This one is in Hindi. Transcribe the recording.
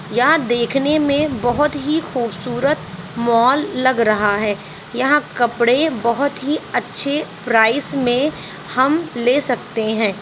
यहाँ देखने में बहुत ही खुबसूरत मॉल लग रहा है यहाँ कपडे बहोत ही अच्छे प्राइस में हम ले सकते हैं।